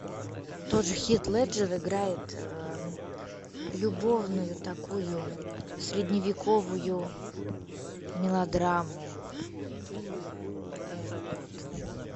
тоже хит леджер играет любовную такую средневековую мелодраму вот